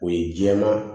O ye jɛman